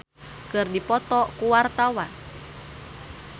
Ine Shintya jeung Eminem keur dipoto ku wartawan